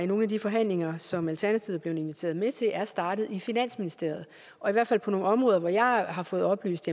nogle af de forhandlinger som alternativet er blevet inviteret med til er startet i finansministeriet og i hvert fald på nogle områder hvor jeg har fået oplyst